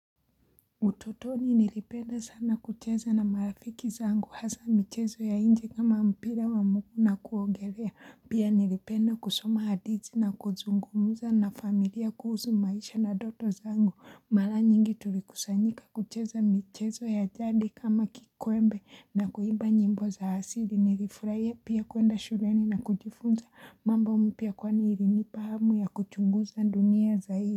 Utotoni nilipenda sana kucheza na marafiki zangu hasa michezo ya inje kama mpira wa mguu na kuogelea pia nilipenda kusoma hadithi na kuzungumuza na familia kuhusu maisha na ndoto zangu mara nyingi tulikusanyika kucheza michezo ya jadi kama kikwembe na kuimba nyimbo za asili nilifurahia pia kwenda shureni na kujifunza mambo mpya kwani ilinipahamu ya kuchunguza dunia zaidi.